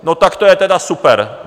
No, tak to je teda super.